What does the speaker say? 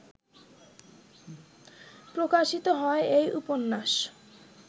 প্রকাশিত হয় এই উপন্যাস